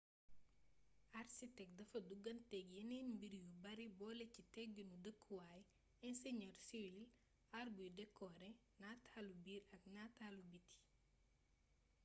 arsitek dafa duggaanteeg yeneen mbir yu bare boole ci tegginu dëkkuwaay inseñër siwil aar buy dekoore nataalu biir ak nataalu biti